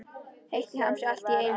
Heitt í hamsi allt í einu.